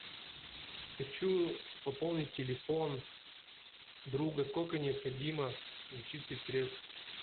хочу пополнить телефон друга сколько необходимо зачислить средств